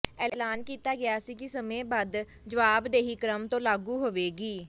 ਐਲਾਨ ਕੀਤਾ ਗਿਆ ਸੀ ਕਿ ਸਮੇਂਬੱਧ ਜਵਾਬਦੇਹੀ ਕ੍ਰਮ ਤੋਂ ਲਾਗੂ ਹੋਵੇਗੀ